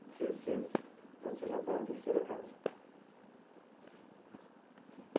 Então você já está na terceira casa.